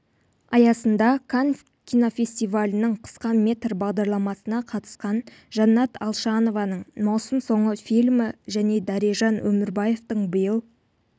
аясында канн кинофестивалінің қысқа метр бағдарламасына қатысқан жаннат алшанованың маусым соңы фильмі және дәрежан өмірбаевтің биыл